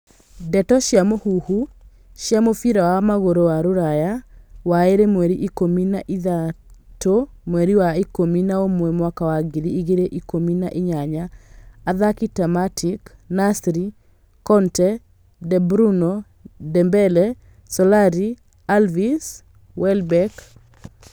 Ndeto cia mũhuhu cia mũbira wa magũrũ wa Rũraya waĩrĩ mweri ikũmi na ithatũ mweri wa ikũmi na umwe mwaka wa ngiri igĩrĩ ikumi na inyanya, athaki ta Matic, Nasri, Conte, De Bruyne, Dembele, Solari, Alves, Welbeck